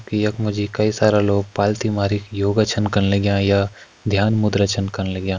यख मा जी कई सारा लोग पालती मारी योगा छन कन लग्यां या ध्यान मुद्रा छन कन लग्यां।